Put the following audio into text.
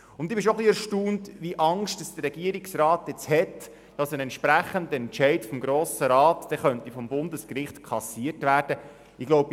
Ich bin ein bisschen erstaunt, wie viel Angst der Regierungsrat hat, dass ein entsprechender Entscheid des Grossen Rats durch das Bundesgericht aufgehoben werden könnte.